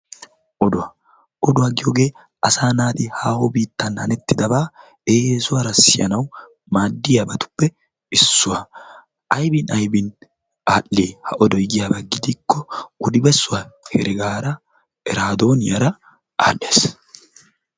oduwaa! oduwaa giyoogee asaa naati haaho biittan hanettidabaa eesuwaara siyanaw maaddiyaabatuppe issuwaa aybin aybin adhii ha odoy giyaaba gidikko odi bessuwaa heregaara eraadooniyaara aadhes.